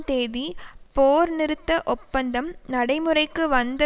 தேதி போர்நிறுத்த ஒப்பந்தம் நடைமுறைக்கு வந்த